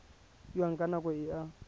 fiwang ka nako e a